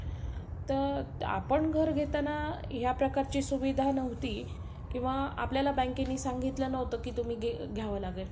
अह आता बघा आता बघा latest जे model येत आहे. त्याच्यात होऊ शकते. तो featuresinbuilt असेल किंवा आता नवीन